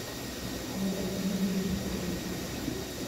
валентине рябковой